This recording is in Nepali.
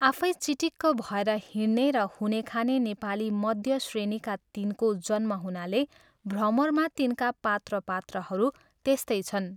आफै चिटिक्क भएर हिँड्ने र हुने खाने नेपाली मध्य श्रेणीका तिनको जन्म हुनाले भ्रमरमा तिनका पात्रपात्राहरू त्यस्तै छन्।